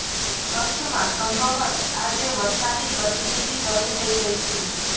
કચ્છમાં સંભવત આજે વરસાદી ગતિવિધિ શરૂ થઇ ગઇ છે